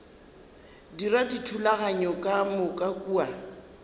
dira dithulaganyo ka moka kua